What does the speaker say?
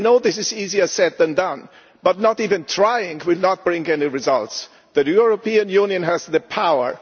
I know this is easier said than done, but not even trying will not bring any results. The European Union has the power